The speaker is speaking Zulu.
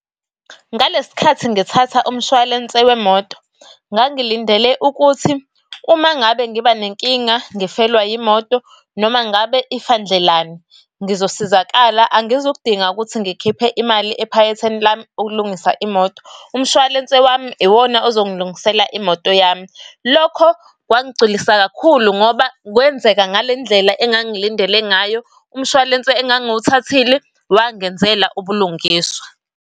Ngalesi sikhathi ngithatha umshwalense wemoto, ngangilindele ukuthi uma ngabe ngiba nenkinga ngifelwe imoto noma ngabe ifa ndlelani ngizosizakala, angizukudinga ukuthi ngikhiphe imali ephaketheni lami ukulungisa imoto. Umshwalense wami iwona ozongilungisela imoto yami. Lokho kwangigculisa kakhulu ngoba kwenzeka ngale ndlela engangilindele ngayo, umshwalense engangiwuthathile wangenzela ubulungiswa.